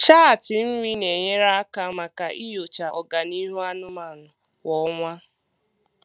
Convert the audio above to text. Chaatị nri na-enyere aka maka inyocha ọganihu anụmanụ kwa ọnwa.